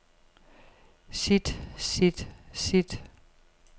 sit sit sit